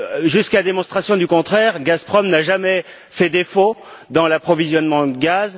Jusqu'à démonstration du contraire, Gazprom n'a jamais fait défaut dans l'approvisionnement de gaz.